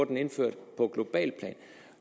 den indført på globalt plan